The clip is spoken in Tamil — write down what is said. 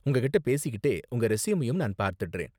உங்ககிட்ட பேசிக்கிட்டே உங்க ரெஸ்யூமையும் நான் பார்த்திடுறேன்.